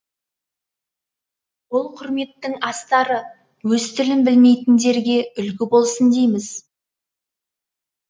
ол құрметтің астары өз тілін білмейтіндерге үлгі болсын дейміз